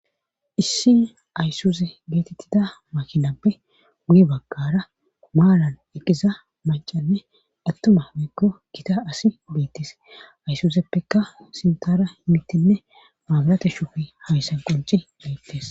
Issi aysuze geetettida makinappe wuy bagkara maalan eqqiza macanne attuma meekko kita asi beettis aysuzeppeka sintara himittinne maabalate shuufi hawissan qonci beettes.